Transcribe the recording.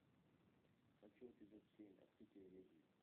хочу эпизод семь открытие ведьм